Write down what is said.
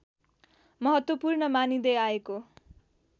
महत्वपूर्ण मानिँदै आएको